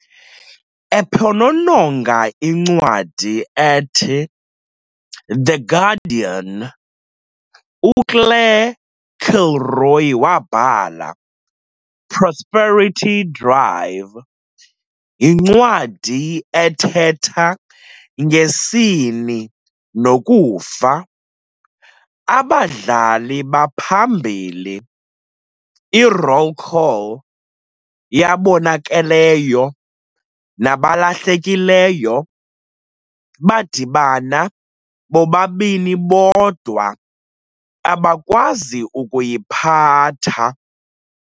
Ephonononga incwadi ethi "The Guardian", uClaire Kilroy wabhala- "Prosperity Drive" yincwadi ethetha ngesini nokufa. Abadlali baphambili - 'i-roll call yabonakeleyo nabalahlekileyo' - badibana bobabini bodwa abakwazi ukuyiphatha.